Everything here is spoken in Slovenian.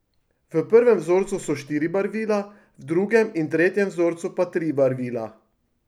V prvem vzorcu so štiri barvila, v drugem in tretjem vzorcu pa tri barvila.